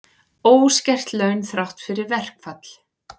Óskert laun þrátt fyrir verkfall